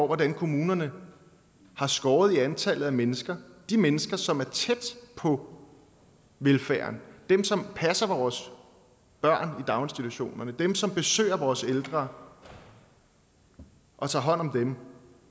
hvordan kommunerne har skåret i antallet af mennesker de mennesker som er tæt på velfærden dem som passer vores børn i daginstitutionerne dem som besøger vores ældre og tager hånd om dem